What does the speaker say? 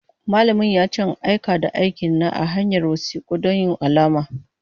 Malamin ya ce in aika da aikina ta hanyar wasiku don yin alama.